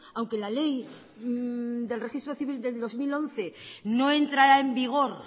aunque la ley del registro civil del dos mil once no entrara en vigor